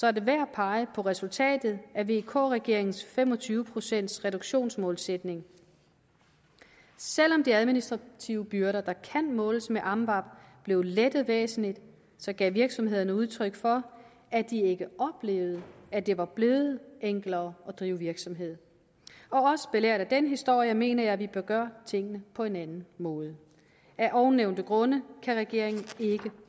er det værd at pege på resultatet af vk regeringens fem og tyve procents reduktionsmålsætning selv om de administrative byrder der kan måles med amvab blev lettet væsentligt så gav virksomhederne udtryk for at de ikke oplevede at det var blevet enklere at drive virksomhed også belært af den historie mener jeg at vi bør gøre tingene på en anden måde af ovennævnte grunde kan regeringen ikke